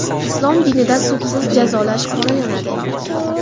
Islom dinida sudsiz jazolash qoralanadi.